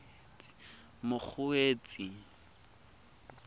mokgweetsi